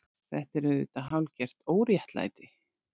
Þetta er auðvitað hálfgert óréttlæti.